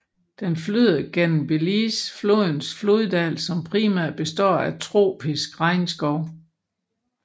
Den flyder gennem Belize flodens floddal som primært består af tropisk regnskov